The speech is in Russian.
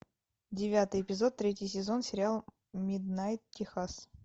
девятый эпизод третий сезон сериала миднайт техас